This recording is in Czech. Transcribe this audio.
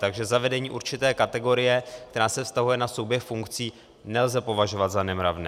Takže zavedení určité kategorie, která se vztahuje na souběh funkcí, nelze považovat za nemravné.